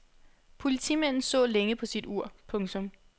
Politimanden så længe på sit ur. punktum